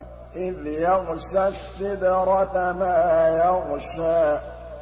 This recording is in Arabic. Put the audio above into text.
إِذْ يَغْشَى السِّدْرَةَ مَا يَغْشَىٰ